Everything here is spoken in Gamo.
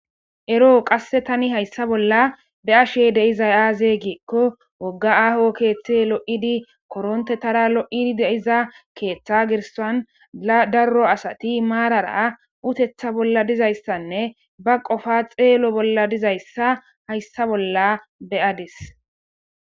Eroo qassi thani hayssa bolla be7ashee de7izay aazee giikko wogga aaho keeththey lo7idi koronththethaara lo7idi de7iza keeththaa gerssan laa darro asatho maarara utheththa bolli dizayssanne ba qofaa xeelo bolla dizayssa hayssa bolla be7ades.